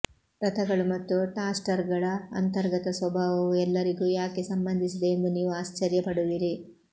ರಥಗಳು ಮತ್ತು ಟಾಸ್ಟರ್ಗಳ ಅಂತರ್ಗತ ಸ್ವಭಾವವು ಎಲ್ಲರಿಗೂ ಯಾಕೆ ಸಂಬಂಧಿಸಿದೆ ಎಂದು ನೀವು ಆಶ್ಚರ್ಯ ಪಡುವಿರಿ